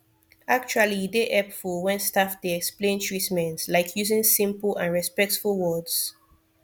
actually e dey hepful wen staf dey explain treatment like using simple and respectful words